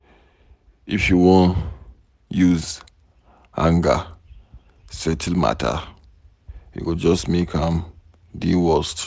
If you wan use anger settle matter, e go just make am dey worst.